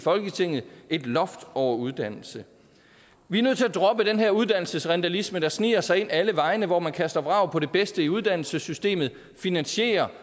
folketinget et loft over uddannelse vi er nødt til at droppe den her uddannelsesrindalisme der sniger sig ind alle vegne hvor man kaster vrag på det bedste i uddannelsessystemet og finansierer